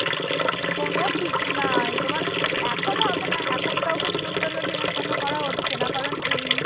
কোন ঠিক নাই তোমার এখন হবে না এখন কাউকে নেমন্তন্ন-ঠেমন্তন্ন করা হচ্ছে না। কারন, এই